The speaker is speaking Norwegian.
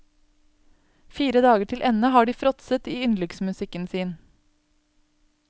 Fire dager til ende har de fråtset i yndlingsmusikken sin.